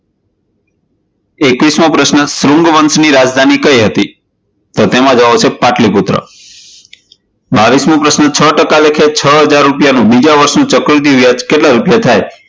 એકવીસમો પ્રશ્ન, શૃંગ વંશ ની રાજધાની કઇ હતી? તો તેમાં જવાબ આવશે પાટલીપુત્ર બાવિશમો પ્રશ્ન, છ ટકા લેખે છ હજાર રૂપિયા નું બીજા વર્ષનું ચક્રવૃદ્ધિ વ્યાજ કેટલા રૂપિયા થાય?